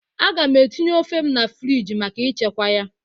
Aga m etinye ofe m na friji maka ichekwa ya.